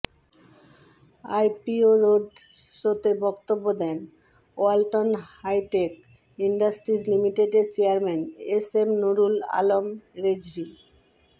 IPO road শোতে বক্তব্য দেন ওয়ালটন হাইটেক ইন্ডাস্ট্রিজ লিমিটেডের chairman S M Nurul Alam Rezvi